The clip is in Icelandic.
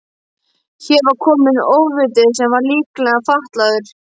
Hér var kominn ofviti sem var líkamlega fatlaður.